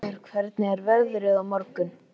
Hörður, hvernig er veðrið á morgun?